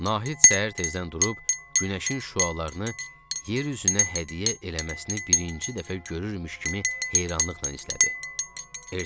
Nahid səhər tezdən durub günəşin şüalarını yer üzünə hədiyyə eləməsini birinci dəfə görürümüş kimi heyranlıqla izlədi.